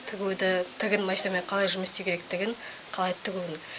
тігуді тігін машинамен қалай жұмыс істеу керектігін қалай тігуін